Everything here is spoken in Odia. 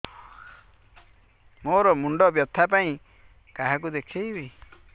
ମୋର ମୁଣ୍ଡ ବ୍ୟଥା ପାଇଁ କାହାକୁ ଦେଖେଇବି